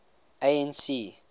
anc